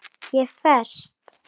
Ég er föst.